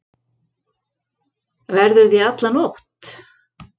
Verðurðu í alla nótt?